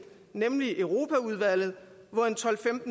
nemlig europaudvalget hvor tolv til